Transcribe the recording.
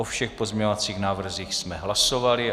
O všech pozměňovacích návrzích jsme hlasovali.